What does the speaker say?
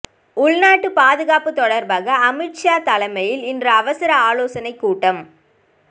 உள்நாட்டு பாதுகாப்பு தொடர்பாக அமித்ஷா தலைமையில் இன்று அவசர ஆலோசனை கூட்டம்